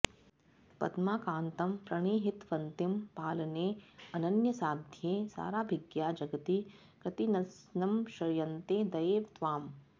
पद्माकान्तं प्रणिहितवतीं पालनेऽनन्यसाध्ये साराभिज्ञा जगति कृतिनस्संश्रयन्ते दये त्वाम्